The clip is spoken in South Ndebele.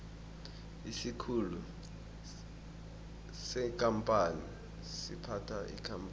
isikhulu sekampani siphatha ikampani